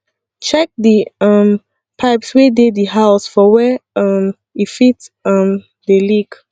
check di um pipes wey dey di house for were um e fit um dey leak